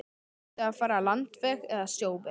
Átti að fara landveg eða sjóveg?